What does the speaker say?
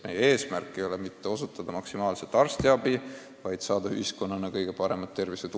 Meie eesmärk ei ole mitte osutada maksimaalselt arstiabi, vaid saavutada ühiskonnas kõige parem tervisetulem.